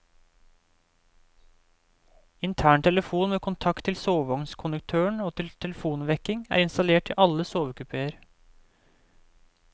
Intern telefon med kontakt til sovevognskonduktøren og til telefonvekking er installert i alle sovekupéer.